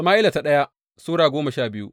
daya Sama’ila Sura goma sha biyu